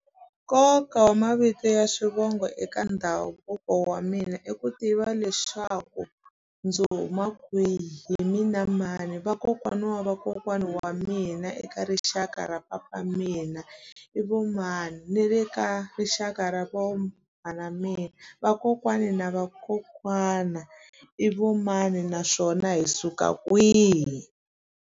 Nkoka wa mavito ya swivongo eka ndhavuko wa mina i ku tiva leswaku ndzi huma kwihi mina mani vakokwana wa vakokwana wa mina eka rixaka ra papa mina i vo mani ni le ka rixaka ra vo mhani wa mina vakokwani na vakokwana i vo mani naswona hi suka kwihi.